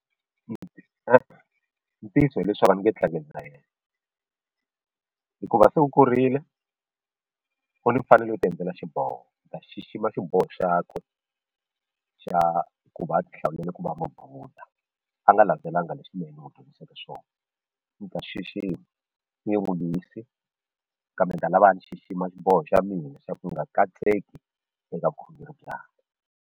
e-e ntiyiso hileswaku ni nge tlangi na yena hikuva se u kurile u ni mfanelo yo tiendlela xiboho ni ta xixima xiboho xakwe xa ku va a ti hlawulele ku va mubudha a nga landzelanga leswi mina ni n'wu dyondziseke swona ni ta xixima ni nge n'wu lwisi kambe ni ta lava a ni xixima xiboho xa mina xa ku nga katseki eka vukhongeri byakwe.